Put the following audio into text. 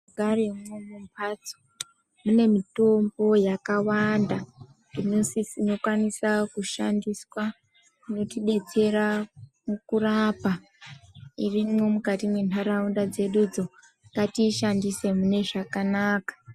Mumhatso munemitombo yakawanada inokwanisa kushandiswa inotibetsera mukurapa irimwo mukati mwenharaunda dzedudzo ngatiishandise mune zvakanaka.